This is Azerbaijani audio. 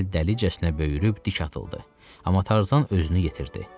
Kəl dəlicəsinə böyürüb dik atıldı, amma Tarzan özünü yetirdi.